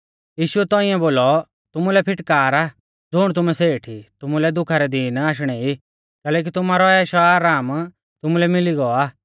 यीशुऐ तौंइऐ बोलौ तुमुलै फिटकार आ ज़ुण तुमै सेठ ई तुमुलै दुखा रै दीन आशणै ई कैलैकि तुमारौ ऐशआराम तुमुलै मिली गौ आ